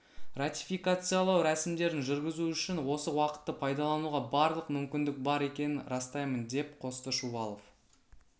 ратификациялау рәсімдерін жүргізу үшін осы уақытты пайдалануға барлық мүмкіндік бар екенін растаймын деп қосты шувалов